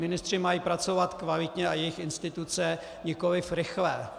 Ministři mají pracovat kvalitně, a jejich instituce, nikoli rychle.